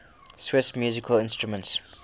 swiss musical instruments